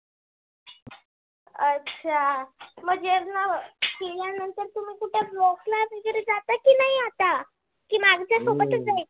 अच्छा म जेवना केल्यानंतर तुम्ही कुटे? walk ला वैगेरे जाता की नाही आता? की माझ्यासोबतच जायचे?